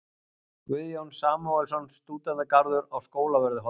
Guðjón Samúelsson: Stúdentagarður á Skólavörðuholti.